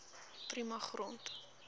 prima grond